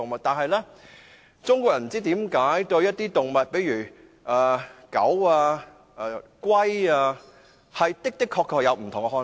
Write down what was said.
但是，不知道中國人為何對一些動物，例如狗、龜，抱有不同的看法。